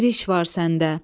Bir iş var səndə.